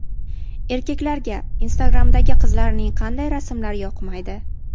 Erkaklarga Instagram’dagi qizlarning qanday rasmlari yoqmaydi?.